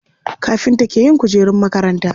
Kafinta ke yin kujerun makaranta.